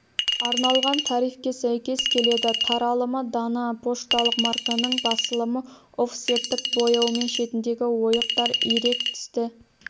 арналған тарифке сәйкес келеді таралымы дана пошталық марканың басылымы офсеттік бояумен шетіндегі ойықтар ирек тісті